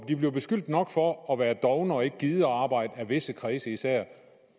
de bliver beskyldt nok for at være dovne og ikke gide arbejde i visse kredse især i